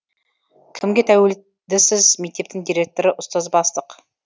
кімге тәуел дісіз мектептің директоры ұстаз бастық